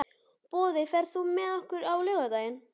Boði, ferð þú með okkur á laugardaginn?